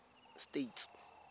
states